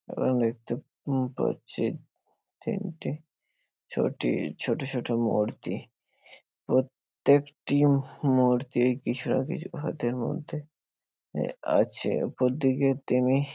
আ-ন দেখতে উম পাচ্ছি তিনটি ছোটি ছোট ছোট মূর্তি প্রত্যেকটি মূর্তি কিছু না কিছু হাতের মধ্যে এ আছে উপর দিকে তিমি --